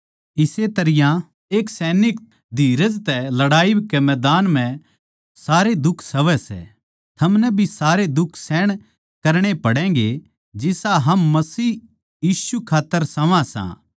इस्से तरियां एक सैनिक धीरज तै लड़ाई के मैदान म्ह सारे दुख सहवै सै थारे ताहीं भी सारे दुख सहण करणे पडैंगे जिसा हम मसीह यीशु खात्तर सहवां सां